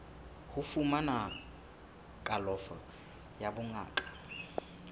ho fumana kalafo ya bongaka